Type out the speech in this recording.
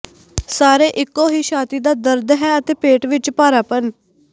ਸਾਰੇ ਇੱਕੋ ਹੀ ਛਾਤੀ ਦਾ ਦਰਦ ਹੈ ਅਤੇ ਪੇਟ ਵਿੱਚ ਭਾਰਾਪਣ